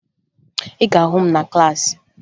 Ị ga-ahụ m na klaasị